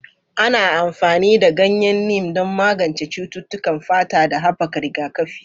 Ana amfani da ganyen Neem don magance cututtukan fata da haɓaka rigakafi.